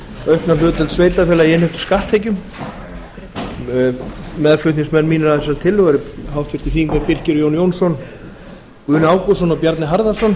aukna hlutdeild sveitarfélaga í innheimtum skatttekjum meðflutningsmenn mínir að þessari tillögu eru háttvirtir þingmenn birkir j jónsson guðni ágústsson og bjarni harðarson